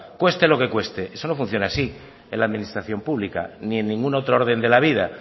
cueste lo que cueste eso no funciona así en la administración pública ni en ningún otro orden de la vida